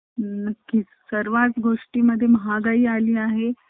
आपल्याला drawing